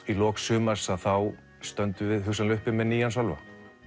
í lok sumars stöndum við hugsanlega uppi með nýjan Sölva